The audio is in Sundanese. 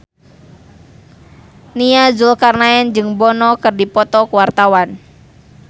Nia Zulkarnaen jeung Bono keur dipoto ku wartawan